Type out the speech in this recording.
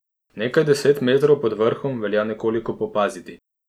Nekaj deset metrov pod vrhom velja nekoliko popaziti.